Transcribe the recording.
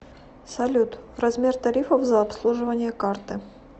салют размер тарифов за обслуживание карты